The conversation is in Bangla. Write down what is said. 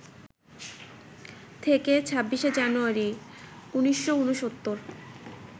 থেকে ২৬শে জানুয়ারি, ১৯৬৯